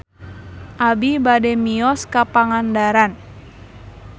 Abi bade mios ka Pangandaran